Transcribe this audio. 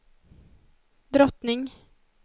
drottning